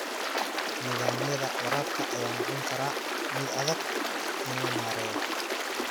Nidaamyada waraabka ayaa noqon kara mid adag in la maareeyo.